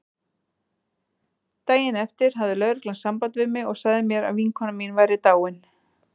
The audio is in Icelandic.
Daginn eftir hafði lögreglan samband við mig og sagði mér að vinkona mín væri dáin.